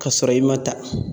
K'a sɔrɔ i ma ta..